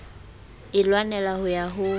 e lwanela ho ya ho